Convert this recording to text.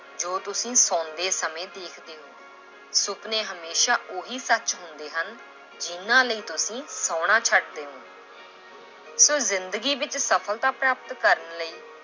ਜੋ ਤੁਸੀਂ ਸੋਂਦੇ ਸਮੇਂ ਦੇਖਦੇ ਹੋ ਸੁਪਨੇ ਹਮੇਸ਼ਾ ਉਹੀ ਸੱਚ ਹੁੰਦੇ ਹਨ ਜਿਹਨਾਂ ਲਈ ਤੁਸੀਂ ਸੌਣਾ ਛੱਡਦੇ ਹੋ ਤਾਂ ਜ਼ਿੰਦਗੀ ਵਿੱਚ ਸਫ਼ਲਤਾ ਪ੍ਰਾਪਤ ਕਰਨ ਲਈ